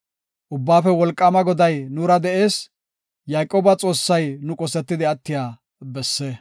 Ubbaafe Wolqaama Goday nuura de7ees; Yayqooba Xoossay nu qosetidi attiya besse. Salaha.